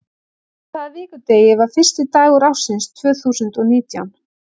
Á hvaða vikudegi var fyrsti dagur ársins tvö þúsund og nítján?